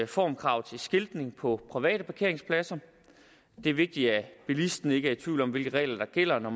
formkrav til skiltning på private parkeringspladser det er vigtigt at bilisten ikke er i tvivl om hvilke regler der gælder når